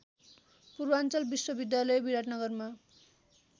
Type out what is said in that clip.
पूर्वाञ्चल विश्वविद्यालय विराटनगरमा